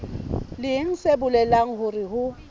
leng se bolelang hore ho